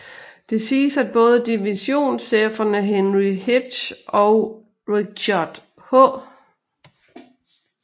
Det siges at både divisionscheferne Henry Heth og Richard H